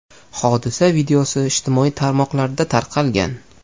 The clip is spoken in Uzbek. Hodisa videosi ijtimoiy tarmoqlarda tarqalgan .